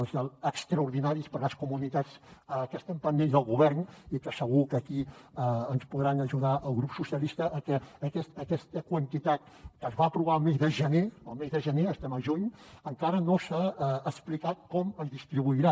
els extraordinaris per a les comunitats que estem pendents del govern i que segur que aquí ens podrà ajudar el grup socialista a que aquesta quantitat que es va aprovar el mes de gener el mes de gener estem al juny encara no s’ha explicat com es distribuirà